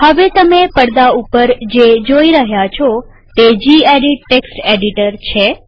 હવે તમે પડદા ઉપર જે જોઈ રહ્યા છો તે જીએડિટ ટેક્સ્ટ એડિટર છે